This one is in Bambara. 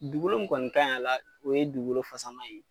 Dugukolo mun kɔni ka ɲi a la o ye dugukolofasama ye.